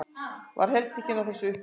Var heltekin af þessari upplifun.